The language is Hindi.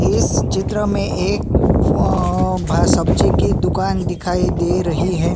इस चित्र में एक अ भ सब्जी की दुकान दिखाई दे रही है।